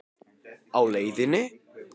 Á leiðinni?